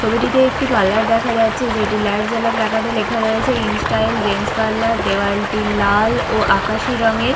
ছবিটিতে একটি পার্লার দেখা যাচ্ছে যেটি লাইট জ্বলা প্ল্যাকার্ড -এ লেখা রয়েছে ইন স্টাইল জেন্টস পার্লার দেয়ালটি লাল ও আকাশি রঙের।